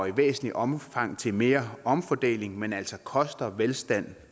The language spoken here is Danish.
i væsentligt omfang bidrager til mere omfordeling men altså koster velstand